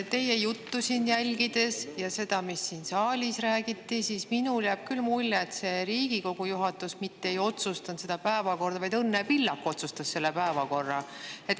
Teie juttu jälgides ja seda, mis siin saalis räägiti, jääb minul küll mulje, et mitte Riigikogu juhatus ei otsustanud seda päevakorda, vaid Õnne Pillak otsustas selle päevakorra.